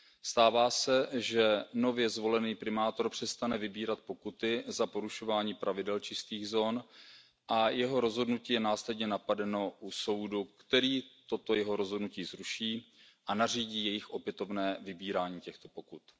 Stává se, že nově zvolený primátor přestane vybírat pokuty za porušování pravidel čistých zón a jeho rozhodnutí je následně napadeno u soudu, který toto jeho rozhodnutí zruší a nařídí opětovné vybírání těchto pokut.